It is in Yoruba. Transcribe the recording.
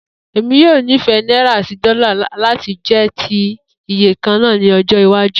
Emi yoo nifẹ Naira ati dola lati jẹ ti iye kanna ni ojo iwaju